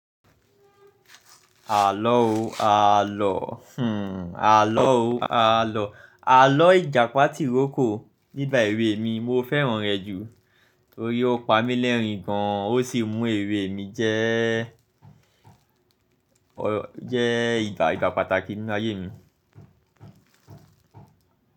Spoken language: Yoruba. Àlọ́ o àlọ́, hmm àlọ́ o àlọ́. Àlọ́ Ìjàpá tìrókò nígba èwè mi mo fẹ́ràn rẹ jù torí ó pa mí lẹ́rìn-gàn ó sì mú èrè mi jẹ́, jẹ́ ìgbà, ìgbà pàtàkì nínú ayé mi.